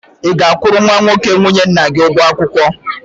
Ị ga-akwụrụ nwa nwoke nwunye nna gị ụgwọ akwụkwọ?